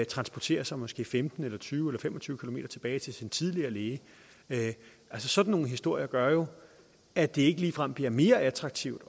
transportere sig måske femten eller tyve eller fem og tyve km tilbage til sin tidligere læge altså sådan nogle historier gør jo at det ikke ligefrem bliver mere attraktivt